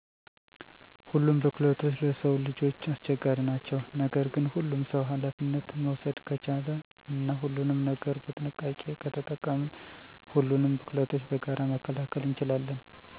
ሁሉም ቡክለቶች ለስዉ ልጆች አስቸጋሪ ናቸዉ። ነገር ግን ሁሉም ሰዉ አላፊነት መዉሰደ ከቻለ እና ሁሉንም ነገር በጥንቃቄ ከተጠቀምን ሁሉንም ቡክለቶች በጋራ መከላከል እንችላለን።